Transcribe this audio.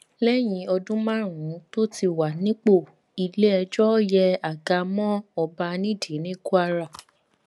lẹyìn ọdún márùnún tó ti wà nípò iléẹjọ yẹ àga mọ ọba nídìí ní kwara